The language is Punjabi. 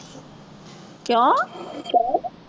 ਕਿਉਂ ਕਿਉਂ?